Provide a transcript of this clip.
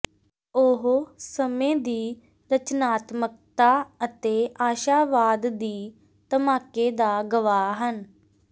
ਉਹ ਸਮੇਂ ਦੀ ਰਚਨਾਤਮਕਤਾ ਅਤੇ ਆਸ਼ਾਵਾਦ ਦੀ ਧਮਾਕੇ ਦਾ ਗਵਾਹ ਹਨ